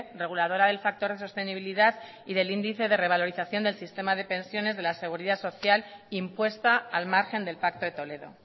reguladora del factor de sostenibilidad y del índice de revalorización del sistema de pensiones de la seguridad social impuesta al margen del pacto de toledo